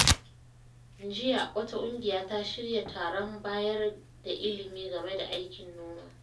Jiya, wata ƙungiya ta shirya taron bayar da ilimi game da aikin noma.